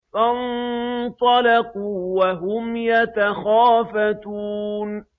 فَانطَلَقُوا وَهُمْ يَتَخَافَتُونَ